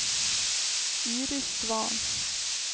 Iris Svahn